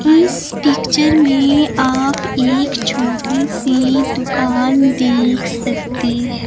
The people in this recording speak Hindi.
इस पिक्चर में आप एक छोटी सी दुकान देख सकते ह--